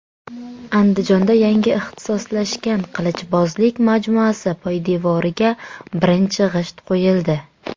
Andijonda yangi ixtisoslashgan qilichbozlik majmuasi poydevoriga birinchi g‘isht qo‘yildi.